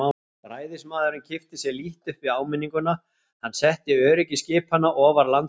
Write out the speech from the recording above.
Ræðismaðurinn kippti sér lítt upp við áminninguna, hann setti öryggi skipanna ofar landslögum.